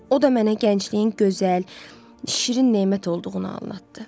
O da mənə gəncliyin gözəl, şirin nemət olduğunu anladtı.